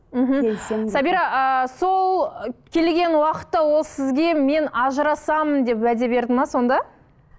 мхм сабира ыыы сол келген уақытта ол сізге мен ажырасамын деп уәде берді ме сонда